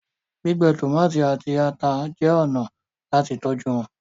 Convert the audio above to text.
gbígbẹ tomati àti atá jé ọnà láti tọjú wón.